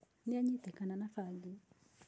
Nĩanyitĩkana na bangi.